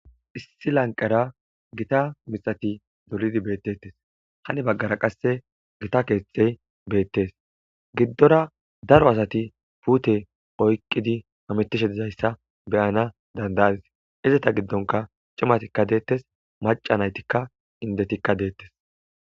Issi lanqqera giita miththati doolidi bettetes haani baggara qasse giitta keththey bettes giidora daaro asati puute oyqqidi hammetishe diizayssa beanas danda'adissi izzetta giddonka ciimmati dettes macca naytyika inddetika dettes.